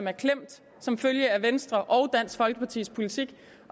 er klemt som følge af venstres og dansk folkepartis politik